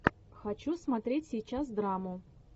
хочу смотреть сейчас драму